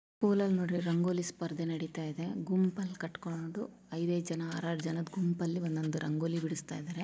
ಸ್ಕೂಲಲ್ಲಿ ನೋಡ್ರಿ ರಂಗೋಲಿ ಸ್ಪರ್ಧೆ ನಡೀತಾ ಇದೆ ಗುಂಪಲ್ ಕಟ್ಕೊಂಡು ಐದ್-ಐದ್ ಜನ ಆರ್-ಆರ್ ಜನದ್ ಗುಂಪಲ್ಲಿ ಒಂದೊಂದು ರಂಗೋಲಿ ಬಿಡುಸ್ತಾ ಇದ್ದಾರೆ.